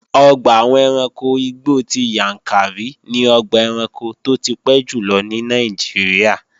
Ọgbà àwọn ẹranko igbó ti Yàǹkàrí ni ọgbà ẹranko tó ti pẹ́ jùlọ ní Nàìjíríà